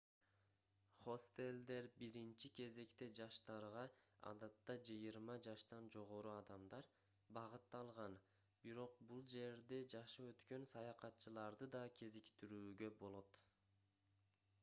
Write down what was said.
хостелдер биринчи кезекте жаштарга адатта жыйырма жаштан жогору адамдар багытталган бирок бул жерде жашы өткөн саякатчыларды да кезиктирүүгө болот